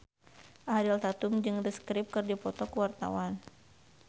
Ariel Tatum jeung The Script keur dipoto ku wartawan